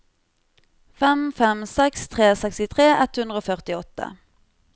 fem fem seks tre sekstitre ett hundre og førtiåtte